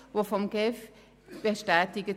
Sie wurden von der GEF bestätigt.